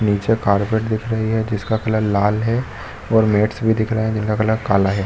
निचे कारपेट दिख रही हैं जिसका कलर लाल है और मैट्स भी दिख रहे हैं जिनका कलर काला है।